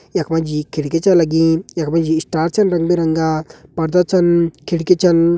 यख मजी खिड़की च लगीं। यक मजी इस्टार छन रंग बिरंगा पर्दा छन खिड़की छन।